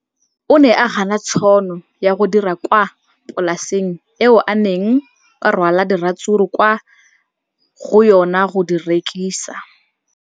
O ne a gana tšhono ya go dira kwa polaseng eo a neng rwala diratsuru kwa go yona go di rekisa.